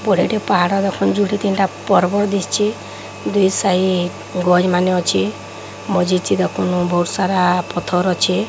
ବଢ଼େଇଟେ ପାହାଡ ପାଖରେ ଯୋଡ଼େ ତିନିଟା ପର୍ବତ ଦିଶଛି। ଦୁଇ ସାଇଟ ଗଳି ମାନେ ଅଛି। ମଝି ଚିରକ ଫୁଣି ବହୁତସାରା ପଥର ଅଛି।